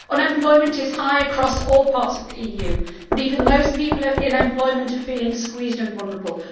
Unemployment is high across all parts of the EU, but even those people in employment are feeling squeezed and vulnerable.